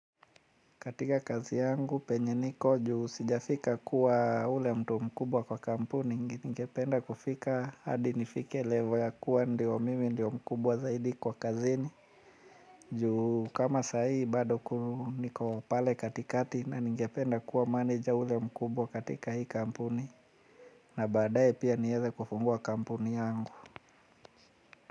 Katika kazi yangu penye niko juu sijafika kuwa yule mtu mkubwa kwa kampuni ningependa kufika hadi nifike level ya kuwa ndio mimi ndio mkubwa zaidi kwa kazini. Juu kama sahi bado niko pale katikati na ningependa kuwa manager yule mkubwa katika hii kampuni na badaye pia niweze kufungua kampuni yangu.